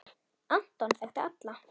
Anton þekkti alla.